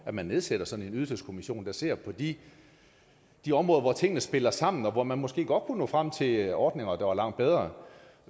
at man nedsætter sådan en ydelseskommission der ser på de de områder hvor tingene spiller sammen og hvor man måske godt kunne nå frem til ordninger der var langt bedre